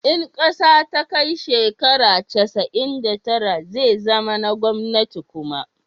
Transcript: in ƙasa ta kai shekara casa'in da tara zai zama na gwamnati kuma